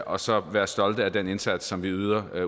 og så være stolte af den indsats som vi yder